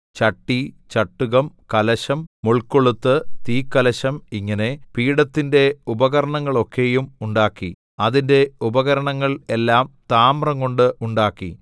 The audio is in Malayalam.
ചട്ടി ചട്ടുകം കലശം മുൾകൊളുത്ത് തീക്കലശം ഇങ്ങനെ പീഠത്തിന്റെ ഉപകരണങ്ങളൊക്കെയും ഉണ്ടാക്കി അതിന്റെ ഉപകരണങ്ങൾ എല്ലാം താമ്രംകൊണ്ട് ഉണ്ടാക്കി